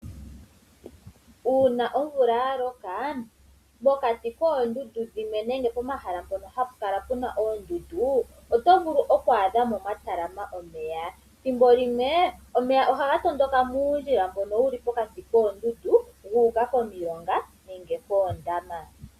Ngele omvula oya loka pokati koodundu dhimwe nenge pomahala ngoka hapu kala puna oondundu oto vulu oku adha pwa talalama omeya. Ethimbo limwe omeya ohaga piti puundjila mboka wuli pokati koondundu gu uka komilonga nenge koondama.